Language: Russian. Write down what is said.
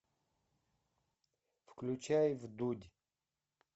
включай вдудь